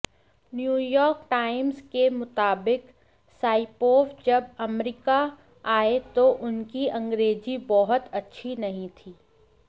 New York Times के मुताबिक Saipov जब अमरीका आए तो उनकी अंग्रेज़ी बहुत अच्छी नहीं थी